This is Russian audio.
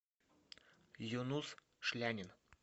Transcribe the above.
юнус шлянин